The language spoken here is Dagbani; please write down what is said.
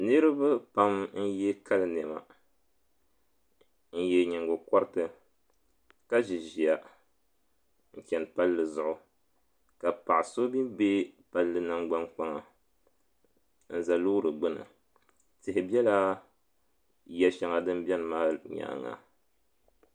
Niraba pam n yɛ kali niɛma n yɛ nyingokoriti ka ʒi ʒiya n chɛni palli zuɣu ka paɣa so mii bɛ palli nangbani kpaŋa n ʒɛ loori gbuni tihi ʒɛla yiya shɛli din biɛni maa nyaanga